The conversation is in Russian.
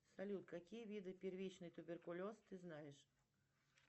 салют какие виды первичный туберкулез ты знаешь